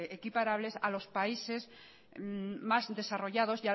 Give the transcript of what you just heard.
equiparables a los países más desarrollados